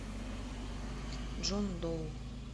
джон доу